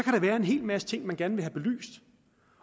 være en hel masse ting man gerne vil have belyst